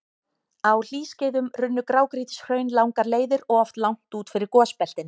Á hlýskeiðum runnu grágrýtishraun langar leiðir og oft langt út fyrir gosbeltin.